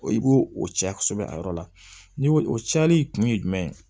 I b'o o cɛ kosɛbɛ a yɔrɔ la ni o cayali kun ye jumɛn ye